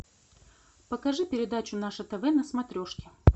покажи передачу наше тв на смотрешке